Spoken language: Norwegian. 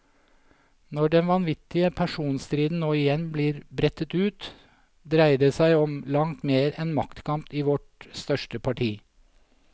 Når den vanvittige personstriden nå igjen blir brettet ut, dreier det som om langt mer enn maktkamp i vårt største parti.